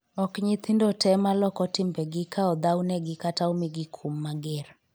ok nyithindo te maloko timbegi ka odhaw negi kata omigi kum mager